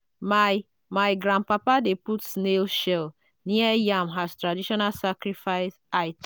my my grandpapa dey put snail shell near yam as traditional sacrifice item.